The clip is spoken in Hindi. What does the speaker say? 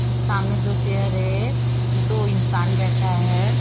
सामने जो चेयर है दो इंसान बैठा है।